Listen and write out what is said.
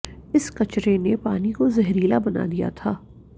इस कचरे ने पानी को ज़हरीला बना दिया था